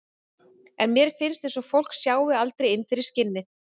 En mér finnst eins og fólk sjái aldrei inn fyrir skinnið.